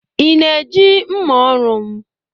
ị na-eji mma ọrụ m